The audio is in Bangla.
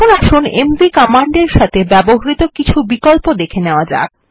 এখন আসুন এমভি কমান্ডের সাথে ব্যবহৃত কিছু বিকল্প দেখে নেওয়া যাক